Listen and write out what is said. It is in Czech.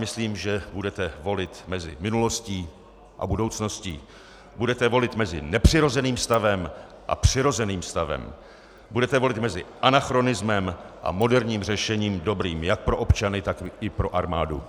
Myslím, že budete volit mezi minulostí a budoucností, budete volit mezi nepřirozeným stavem a přirozeným stavem, budete volit mezi anachronismem a moderním řešením dobrým jak pro občany, tak i pro armádu.